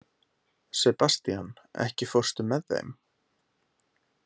Sebastian, ekki fórstu með þeim?